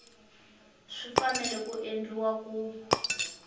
swi fanele ku endliwa ku